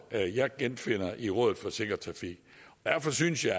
jeg jeg genfinder i rådet for sikker trafik derfor synes jeg